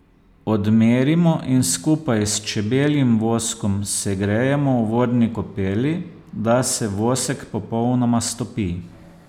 Odmerimo in skupaj s čebeljim voskom segrejemo v vodni kopeli, da se vosek popolnoma stopi.